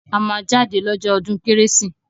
A máa jáde lọ́jọ́ ọdún kérésì